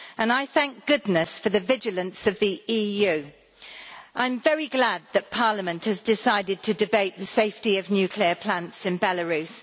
I thank goodness for the vigilance of the EU. I am very glad that Parliament has decided to debate the safety of nuclear plants in Belarus.